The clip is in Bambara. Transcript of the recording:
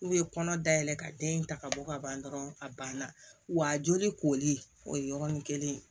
N'u ye kɔnɔ dayɛlɛ ka den ta ka bɔ ka ban dɔrɔn a ban na wa joli koli o ye yɔrɔnin kelen ye